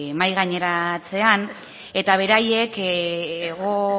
mahai gaineratzean eta beraiek hego